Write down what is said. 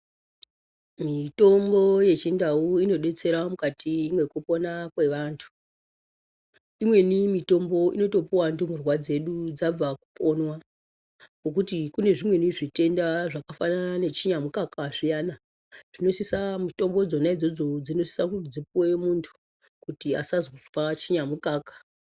Mitombo yechindau inodetsera mukati mwekupona kwevantu imweni mitombo inotopuwa ndumurwa dzedu dzabva kuponwa ngekuti kune zvimweni zvitenda zvakafana nechinyamukaka zviyani zvinosisa mitombo idzo dzizopuwa muntu kuti asazonzwa chinyamukaka.